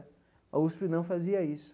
A USP não fazia isso.